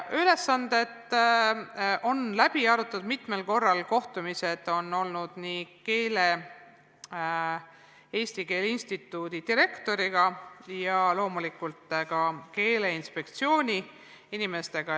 Ülesanded on läbi arutatud mitmel korral, kohtumisi on olnud nii Eesti Keele Instituudi direktoriga kui loomulikult ka Keeleinspektsiooni inimestega.